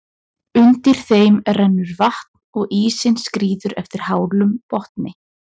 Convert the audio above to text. Undir þeim rennur vatn og ísinn skríður eftir hálum botni.